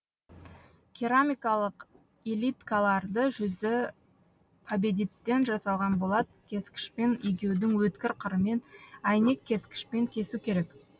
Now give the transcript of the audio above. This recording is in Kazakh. керамикалық илиткаларды жүзі победиттен жасалған болат кескішпен егеудің өткір қырымен әйнек кескішпен кесу керек